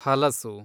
ಹಲಸು